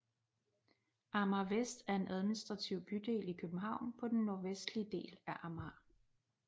Amager Vest er en administrativ bydel i København på den nordvestlige del af Amager